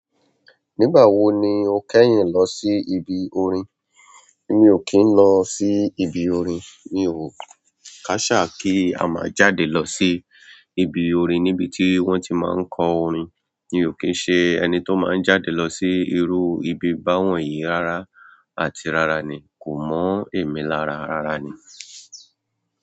Nígbà wo ni o kẹ́yìn lọ sí ibi orin? Mi ò kìn lọ sí ibi orin, mi ò káṣá kí a máa jáde lọ sí ibi orin níbi tí wọ́n ti máa ń kọ orin. Mi ò kín ṣe ẹni tó máa ń jáde lọ sí irú ibi báwọ̀nyí rárá àti rárá ni. Kò mọ̀ emí lárá rara ni.